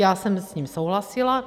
Já jsem s ním souhlasila.